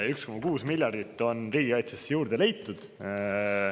1,6 miljardit on riigikaitsesse juurde leitud.